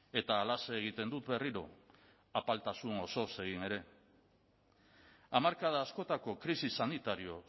eta halaxe egiten dut berriro apaltasun osoz egin ere hamarkada askotako krisi sanitario